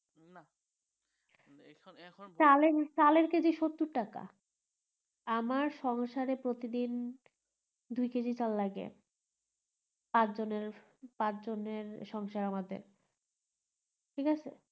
চালের চালের এর কেজি সত্তর টাকা আমার সংসারে ওরিটিদিন দুই কেজি চাল লাগে পাঁচজনের পাঁচজনের সংসার আমাদের ঠিক আছে